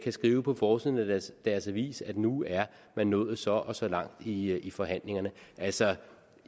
skrive på forsiden af deres avis at nu er man nået så og så langt i i forhandlingerne altså